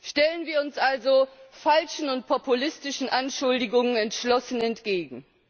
Stellen wir uns also falschen und populistischen Anschuldigungen entschlossen entgegen!